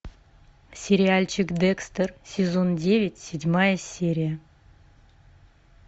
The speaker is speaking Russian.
сериальчик декстер сезон девять седьмая серия